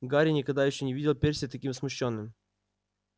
гарри никогда ещё не видел перси таким смущённым